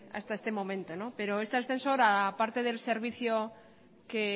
hasta este momento pero este ascensor aparte del servicio que